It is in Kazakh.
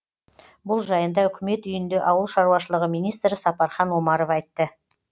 бұл жайында үкімет үйінде ауыл шаруашылығы министрі сапархан омаров айтты